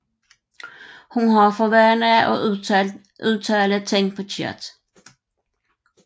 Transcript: Hun har for vane at udtale ting forkert